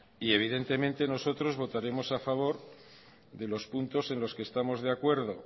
y evidentemente nosotros votaremos a favor de los puntos en los que estamos de acuerdo